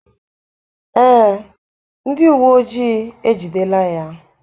Ee, ndị uwe ojii ejidela ya.